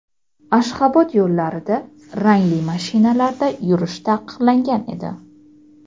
Ashxobod yo‘llarida rangli mashinalarda yurish taqiqlangan edi.